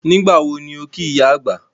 Nígbàwo ni o kí ìyá àgbà?